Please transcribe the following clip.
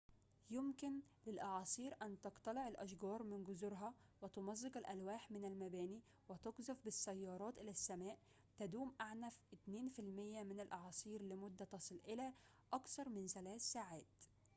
يمكن للأعاصير أن تقتلع الأشجار من جذورها وتمزق الألواح من المباني وتقذف بالسيارات إلى السماء تدوم أعنف 2% من الأعاصير لمدة تصل إلى أكثر من ثلاث ساعات